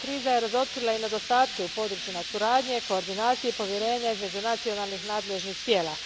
razotkrila nedostatke na područjima suradnje, koordinacije i povjerenja između nacionalnih nadležnih tijela.